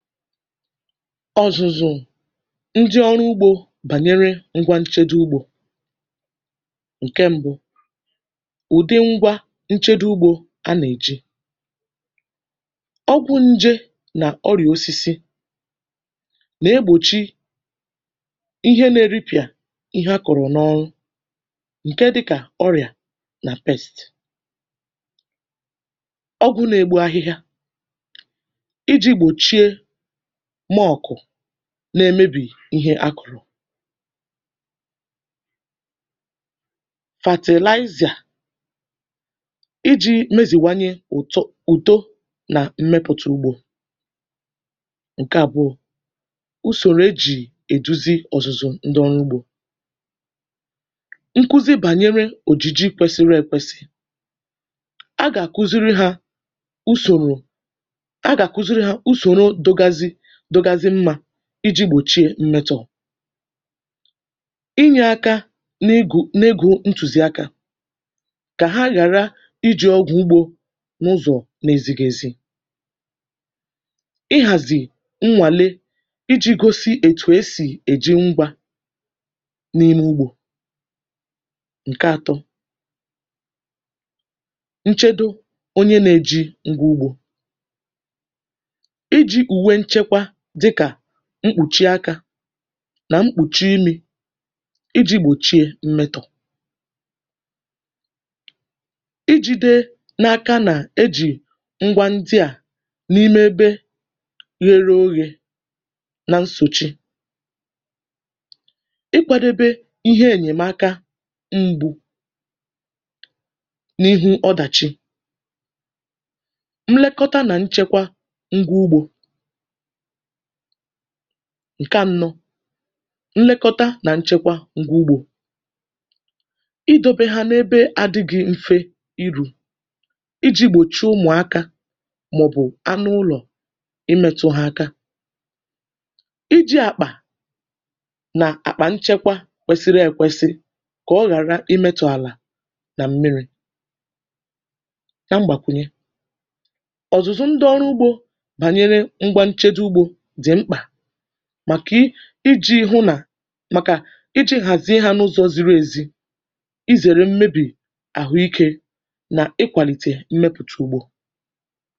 Ọ̀zụ̀zụ̀ ndị ọrụ ugbȯ bànyere ngwa nchedo ugbȯ. Ǹkè ṁbụ̇ bụ̀ ụ̀dị ngwa nchedo ugbȯ. A nà-èjì ọgwụ̇ njė nà ọrị̀à osisi, iji̇ gbòchie ihe nà-eripịà ihe akọ̀rọ̀ n’ọrụ, um ǹkè dịkà ọrịa nà pesti. Ọgwụ̇ na-egbu ahịhịa bụ̀ nke a nà-èjì gbòchie na-èmèbì ihe akụ̀rụ̀, iji̇ gbòchie mmetọ̀, inyè aka n’egù n’egù. um Ntùzì akà dị mkpa, kà hà ghàrà iji̇ ọgwụ̀ ugbȯ n’ụzọ̀ nà ezigè ezi. Íhàzì nnwàlè na-enyere ịgosi ètù esì èjì ngwȧ n’ime ugbȯ. um Ǹkè atọ̀ bụ̀ nchedo onye nà-eji ngwà ugbȯ, dịkà mkpùchi akà nà mkpùchi imi̇, iji̇ gbòchie mmetọ̀. Ijide n’aka nà-ejì ngwa ndị à n’ime ebe ghere oghị̇, um na nsochi ịkwàdebe ihe ènyèmàka m̀gbè n’ihu ọdàchi. Mlekọta nà nchekwa ngwa ugbȯ — ǹkè ànọ̀ bụ̀ idòbe hà n’ebe adị gị̇ mfe irù, iji̇ gbòchie ụmụ̀akȧ màọ̀bụ̀ anụ ụlọ̀ imetụ̇ hà akà. um Iji̇ àkpà nà àkpà nchekwa kwesiri èkwesi, kà ọ ghàrà imetụ̇ àlà nà m̀miri yà. Mgbàkwùnye ọ̀zụ̀zụ ndị ọrụ ugbȯ bụ̀ maka iji̇ hụ nà hà mà, um iji̇ hàzìe hà n’ụzọ̇ ziri ezi, izère mmebì àhụ, ikè nà ịkwàlìtè mmepụ̀tụ̀ ùgbò.